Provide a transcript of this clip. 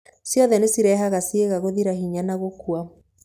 Ciothe nĩ cirehaga ciĩga gũthira hinya na gũkua.